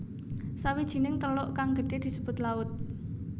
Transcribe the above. Sawijining teluk kang gedhe disebut laut